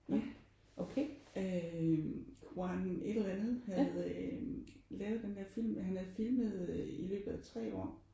Ja øh Juan et eller andet havde lavet den der film og han havde filmet i løbet af 3 år